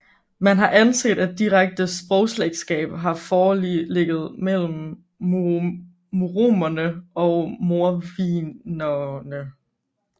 Man har anset at direkte sprogslægtskab har foreligget mellem muromerne og mordvinerne